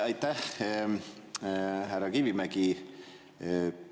Ja aitäh, härra Kivimägi!